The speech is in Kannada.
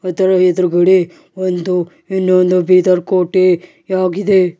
ಅದರ ಎದುರುಗಡೆ ಒಂದು ಇನ್ನೊಂದು ಬೀದರ್ ಕೋಟೆಯಾಗಿದೆ.